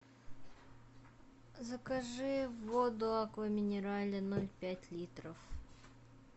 закажи воду аква минерале ноль пять литров